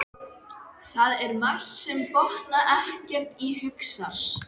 Það er margt sem ég botna ekkert í, hugsar